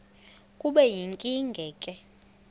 kube yinkinge ke